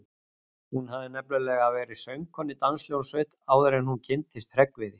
Hún hafði nefnilega verið söngkona í danshljómsveit áður en hún kynntist Hreggviði.